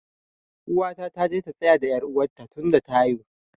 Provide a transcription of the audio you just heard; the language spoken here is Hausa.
Uwata ta je ta tsaya da er uwa ta tun da ta haihu.